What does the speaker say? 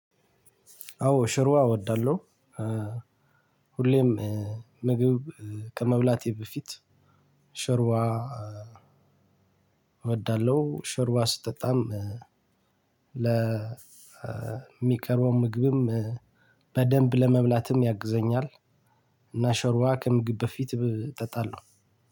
አዎ ሾርባ እወዳለሁ ሁሌም ምግብ ከመብላቴ በፊት ሾርባ እወዳለሁ። ሾርባ ስጠጣም ለሚቀረው ምግብም በደንብ ለመብላትም ያግዘኛል። እና ሾርባ ከምግብ በፊት እጠጣለሁ።